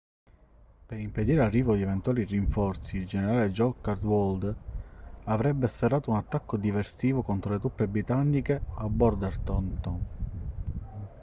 per impedire l'arrivo di eventuali rinforzi il generale john cadwalder avrebbe sferrato un attacco diversivo contro le truppe britanniche a bordentown